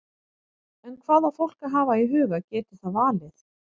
En hvað á fólk að hafa í huga geti það valið?